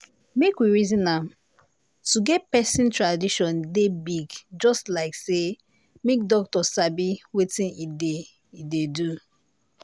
make we reason am- to get person tradition dey big just like say make doctor sabi wetin e dey e dey do.